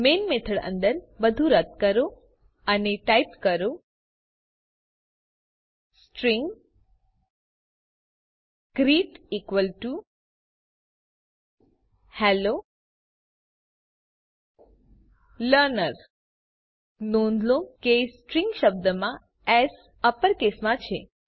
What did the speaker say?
main method અંદર બધું રદ કરો અને ટાઇપ કરો string greet equal to hello learner નોંધ લો કે સ્ટ્રીંગ શબ્દમાં એસ અપરકેસમાં છે